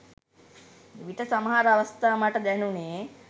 එවිට සමහර අවස්ථා මට දැනුණෙ